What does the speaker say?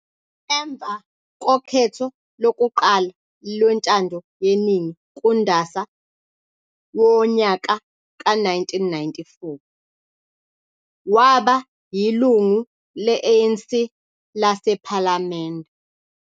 Emva kokhetho lokuqala lwentando yeningi kuNdasa wonyaka ka 1994, waba yilungu le ANC lase palamende.